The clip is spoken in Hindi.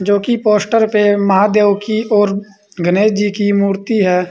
जोकि पोस्टर पे महादेव की और गणेश जी की मूर्ति है।